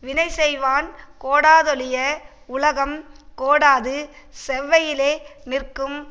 வினை செய்வான் கோடாதொழிய உலகம் கோடாது செவ்வையிலே நிற்கும்